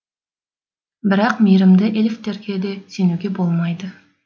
бірақ мейірімді эльфтерге де сенуге болмайды